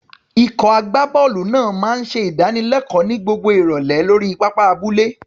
Ikọ̀ agbábọ́ọ̀lù náà máa ń ṣe ìdánilẹ́kọ̀ọ́ ní gbogbo ìrọ̀lẹ́ lórí pápá abúlé.